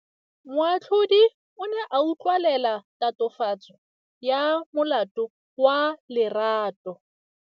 Moatlhodi o ne a utlwelela tatofatsô ya molato wa Lerato.